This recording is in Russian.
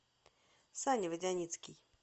саня водяницкий